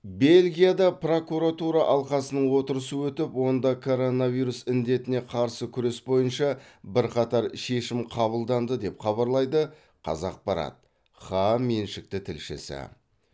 бельгияда прокуратура алқасының отырысы өтіп онда коронавирус індетіне қарсы күрес бойынша бірқатар шешім қабылданды деп хабарлайды қазақпарат хаа меншікті тілшісі